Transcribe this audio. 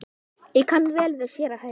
Ég kann vel við séra Hauk.